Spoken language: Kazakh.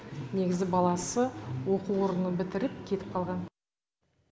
негізі баласы оқу орнын бітіріп кетіп қалған